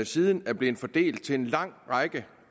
siden er blevet fordelt til en lang række